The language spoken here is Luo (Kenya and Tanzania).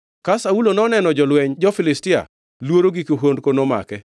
Ka Saulo noneno jolwenj jo-Filistia luoro gi kihondko nomake.